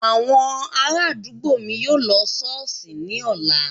Àwọn ará àdúgbò mi yóò lọ ṣọ́ọ̀ṣì ní ọ̀la